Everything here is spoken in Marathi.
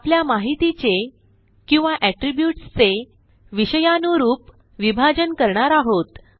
आपल्या माहितीचे किंवा attributesचे विषयानुरूप विभाजन करणार आहोत